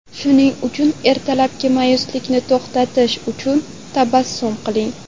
Shuning uchun ertalabki ma’yuslikni to‘xtatish uchun tabassum qiling.